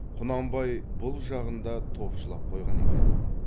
құнанбай бұл жағын да топшылап қойған екен